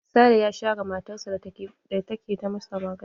Sale ya share matar sa da take ta masa magana.